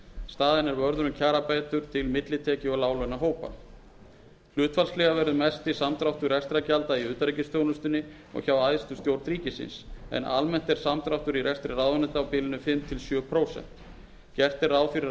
staðinn er vörður um kjarabætur til millitekju og láglaunahópa hlutfallslega verður mesti samdráttur rekstrargjalda í utanríkisþjónustunni og hjá æðstu stjórn ríkisins en almennt er samdráttur í rekstri ráðuneyta á bilinu fimm til sjö prósent gert er ráð fyrir